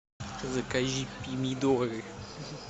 закажи помидоры